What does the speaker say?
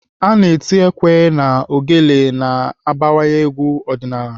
Ana eti ekwe na ogele ma agbawa egwu ọdịnaala.